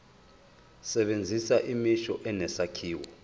sebenzisa imisho enesakhiwo